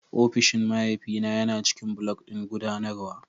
Ofishin mahaifina yana ciƙin block ɗin guɗanarwa